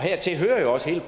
hertil hører jo også hele